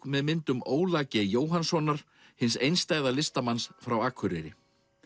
með myndum Óla g Jóhannssonar hins einstæða listamanns frá Akureyri